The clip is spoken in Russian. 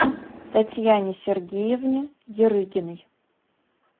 татьяне сергеевне ярыгиной